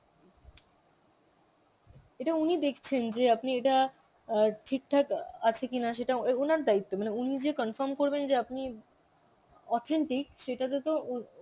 এটা উনি দেখছেন যে আপনি এটা অ্যাঁ ঠিকঠাক অ্যাঁ আছে কিনা সেটা ও~ ওনার দায়িত্ব মানে উনি যে confirm করবেন যে আপনি authentic সেটাতে তো উম